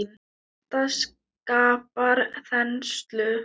Þetta skapar þenslu.